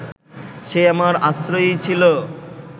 সে আমার আশ্রয়েই ছিল